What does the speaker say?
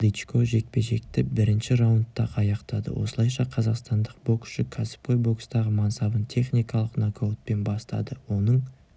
дычко жекпе-жекті бірінші раундта-ақ аяқтады осылайша қазақстандық боксшы кәсіпқой бокстағы мансабын техникалық нокаутпен бастады оның